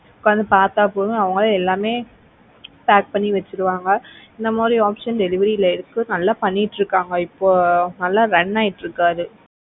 உக்காந்து பாத்தா போதும் அவங்களே எல்லாமே pack பண்ணி வச்சுடுவாங்க. இந்த மாதிரி options delivery ல இருக்கு நல்லா பண்ணிட்டு இருக்காங்க இப்போ நல்லா run ஆயிட்டு இருக்கு அது,